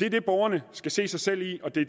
det er det borgerne skal se sig selv i og det